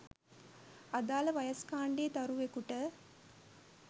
අදාළ වයස්‌ කාණ්‌ඩයේ දරුවෙකුට